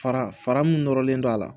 Fara fara min nɔrɔlen don a la